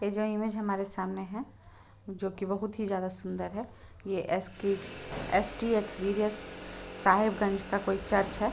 ये जो इमेज हमारे सामने हैं जो की बहुत ही ज्यादा सुंदर है ये एस के एस.टी एक्स्पिरिंस साहेब गंज का कोई चर्च है।